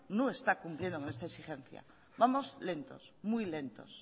no está cumpliendo con esta exigencia vamos lentos muy lentos